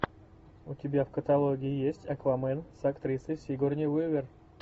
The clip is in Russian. у тебя в каталоге есть аквамен с актрисой сигурни уивер